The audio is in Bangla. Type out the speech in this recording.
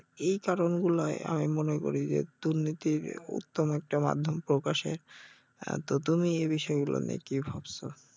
এই কারণ গুলায় আমি মনে করি যে দুর্নীতির উত্তম একটা মাধ্যম প্রকাশে, আহ তো তুমি এই বিষয়গুলা নিয়ে কি ভাবছো?